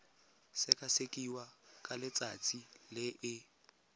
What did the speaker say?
sekasekiwa ka letsatsi le e